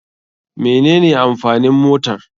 Mene ne amfanin motar.